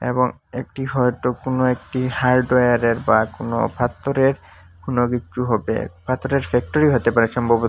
এবং একটি হয়তো কোনো একটি হার্ডওয়ারে র বা কোনো পাথরের কোনো কিচ্ছু হবে পাথরের ফ্যাক্টরি হতে পারে সম্ভব--